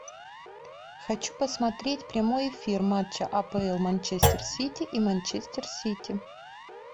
хочу посмотреть прямой эфир матча апл манчестер сити и манчестер сити